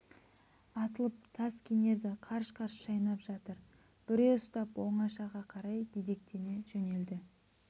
атылып тас кенерді қарш-қарш шайнап жатыр бүре ұстап оңашаға қарай дедектете жөнелді